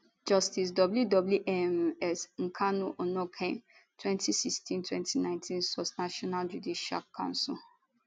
justice w w um s nkanu onnoghen 2016 2019 sourcenational judicial council